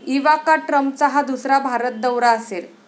Ivanka ट्रम्पचा हा दुसरा भारत दौरा असेल.